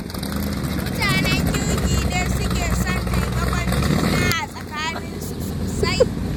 Mutanen kirki ne suke son taimakon juna a tsakaninsu sosai.